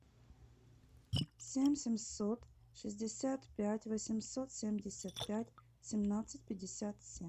семь семьсот шестьдесят пять восемьсот семьдесят пять семнадцать пятьдесят семь